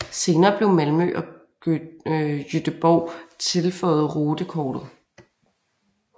Senere blev Malmø og Göteborg tilføjet rutekortet